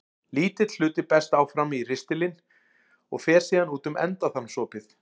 Lítill hluti berst áfram í ristilinn og fer síðan út um endaþarmsopið.